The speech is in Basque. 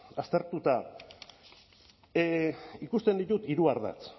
aztertuta ikusten ditut hiru ardatz